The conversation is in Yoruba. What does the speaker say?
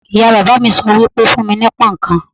Ìyá bàbá mi sọ wípé: fún mi ní pón ǹkan."